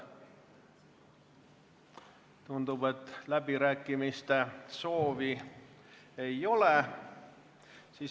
Tundub, et läbirääkimise soovi ei ole.